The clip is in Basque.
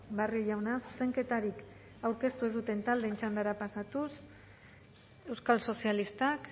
barrio jauna zuzenketarik aurkeztu ez duten taldeen txandara pasatuz euskal sozialistak